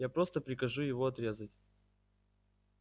я просто прикажу его отрезать